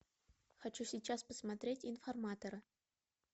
хочу сейчас посмотреть информатора